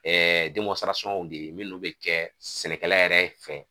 de ye minnu bɛ jɛ sɛnɛkɛla yɛrɛ fɛ.